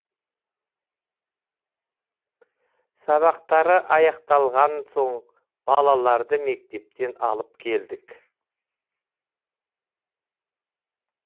сабақтары аяқталған соң балаларды мектептен алып келдік